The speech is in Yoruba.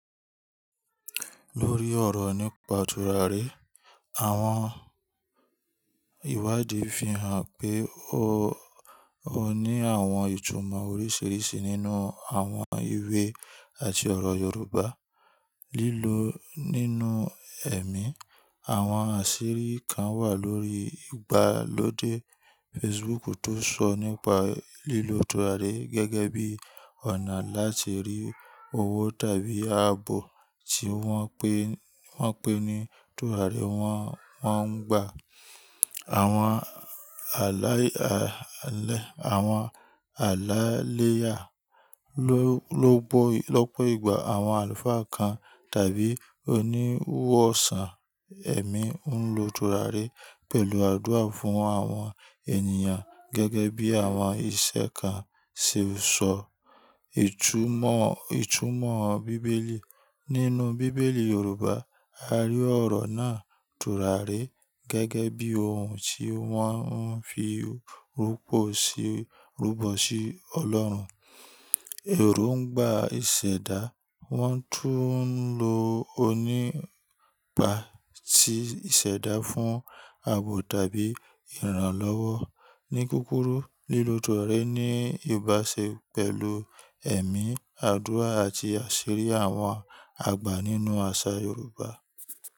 Lórí ọ̀rọ̀ nípa tùràrí, àwọn ìwádìí fi hàn pé ó ní àwọn ìtumọ̀ oríṣiríṣi nínú àwọn ìwé àti ọ̀rọ̀ Yorùbá. Lílo nínú ẹ̀mí, àwọn àṣírí kan wà lórí ìgbàlódé Facebook tó n sọ nípa lílo tùràrí gẹ́gẹ́ bí ọ̀nà láti rí owó tàbí ààbò tí wọ́n pè ní tùràrí wọ́n ń gba. Àwọn àláiléyà lọ́pọ̀ ìgbà àwọn àlùfáà kan tàbí oníwọ̀sàn ẹ̀mí ń lo tùràrí pẹ̀lú àdúrà fún àwọn ènìyàn gẹ́gẹ́ bí àwọn ìṣẹ́ kan ṣe sọ. Ìtúmọ̀ bíbélì, nínú bíbélì Yorùbá, a rí ọ̀rọ̀ náà tùràrí gẹ́gẹ́ bí ohun tí wọ́n ń fi rúbọ sí Ọlọ́run. Eròǹgbà ìṣẹ̀dá, wọ́n tún ń lo nípa tí ìṣẹ̀dá fún àbò tàbí ìrànlọ́wọ́. Ni kúrúkù, lílo tùràrí ní ìbáṣe pẹ̀lú ẹ̀mí, àdúrà àti àṣírí àwọn àgbà nínú àṣà Yorùbá.